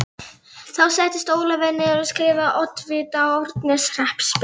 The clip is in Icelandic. Þá settist Ólafur niður og skrifaði oddvita Árneshrepps bréf.